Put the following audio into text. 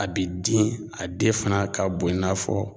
A bi den a den fana ka bon i n'a fɔ